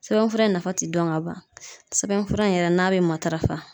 Sɛbɛnfura in nafa ti dɔn ka ban sɛbɛnfura in yɛrɛ n'a be matarafa